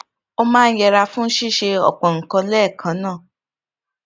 ó máa ń yẹra fún ṣíṣe òpò nǹkan léèkan náà